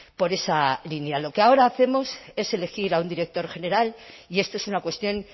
por esa línea lo que ahora hacemos es elegir a un director general y esto es una cuestión